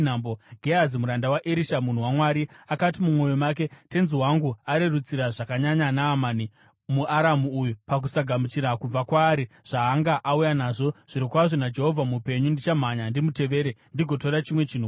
Gehazi muranda waErisha munhu waMwari, akati mumwoyo make, “Tenzi wangu arerutsira zvakanyanya Naamani, muAramu uyu, pakusagamuchira kubva kwaari zvaanga auya nazvo. Zvirokwazvo naJehovha mupenyu, ndichamhanya ndimutevere ndigotora chimwe chinhu kwaari.”